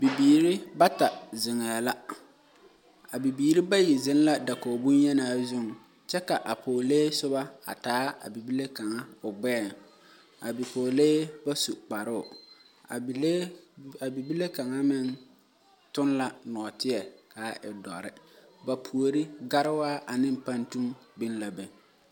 Bibiirii bata zeŋɛ la, a bibiirii bayi zeŋ la dakogi bonyenaa zu kyɛ ka a pɔgele soba a taa a bibile kaŋa o gbɛɛŋ a bipɔgle ba su kparoŋ a bibile kaŋa meŋ toŋ la naateɛ kaa e doɔre ba puori garewaa ane pantu biŋ la be.